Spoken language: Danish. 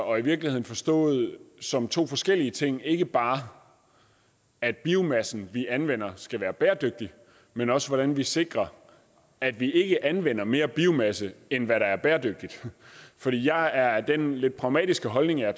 og i virkeligheden forstået som to forskellige ting ikke bare at biomassen vi anvender skal være bæredygtig men også hvordan vi sikrer at vi ikke anvender mere biomasse end hvad der er bæredygtigt fordi jeg er af den lidt pragmatiske holdning at